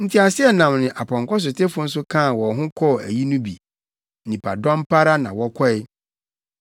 Nteaseɛnam ne apɔnkɔsotefo nso kaa wɔn ho kɔɔ ayi no bi. Nnipadɔm pa ara na wɔkɔe.